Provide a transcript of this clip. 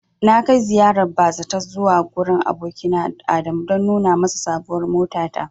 Na kai ziyarar bazata zuwa gurin abokina Adamu don nuna masa sabuwar motata.